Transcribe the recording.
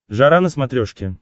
жара на смотрешке